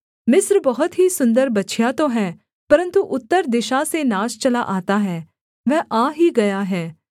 मिस्र बहुत ही सुन्दर बछिया तो है परन्तु उत्तर दिशा से नाश चला आता है वह आ ही गया है